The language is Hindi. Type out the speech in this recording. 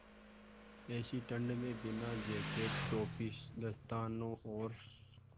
ऐसी ठण्ड में बिना जेकेट टोपी दस्तानों और